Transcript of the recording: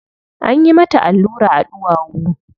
Anyi mata allura a ɗuwawu.